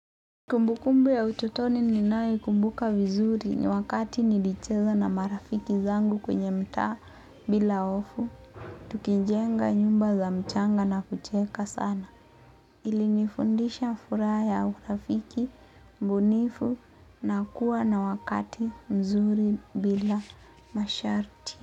Kumbukumbu ya utotoni ninayoikumbuka vizuri ni wakati nilicheza na marafiki zangu kwenye mtaa bila hofu, tukijenga nyumba za mchanga na kucheka sana. Ilinifundisha furaha ya urafiki, ubunifu na kuwa na wakati mzuri bila masharti.